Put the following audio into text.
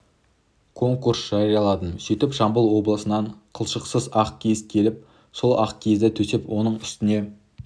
конкурс жарияладым сөйтіп жамбыл облысынан қылшықсыз ақ киіз келіп сол ақ киізді төсеп оның үстіне